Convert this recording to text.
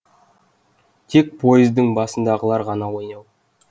тек пойыздың басындағылар ғана ояу